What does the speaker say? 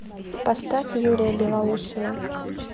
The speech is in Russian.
поставь юрия белоусова